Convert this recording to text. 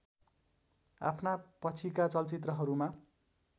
आफ्ना पछिका चलचित्रहरूमा